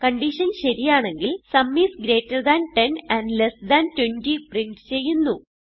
condition ശരിയാണെങ്കിൽ sum is greater than 10 and less than 20 print ചെയ്യുന്നു